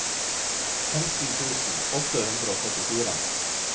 femten tusen åtte hundre og førtifire